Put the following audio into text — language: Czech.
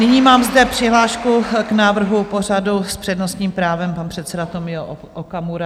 Nyní mám zde přihlášku k návrhu pořadu s přednostním právem - pan předseda Tomio Okamura.